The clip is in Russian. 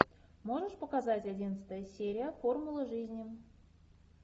можешь показать одиннадцатая серия формула жизни